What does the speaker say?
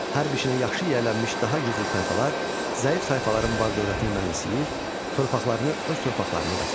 Hərb işinə yaxşı yiyələnmiş daha güclü tayfalar zəif tayfaların mal dövlətini mənimsəyir, torpaqlarını öz torpaqlarına qatırdı.